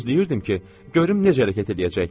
Gözləyirdim ki, görüm necə hərəkət eləyəcək.